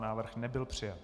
Návrh nebyl přijat.